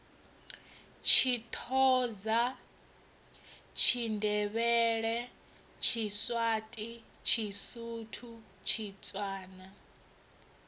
tshithoza tshindevhele tshiswati tshisuthu tshitswana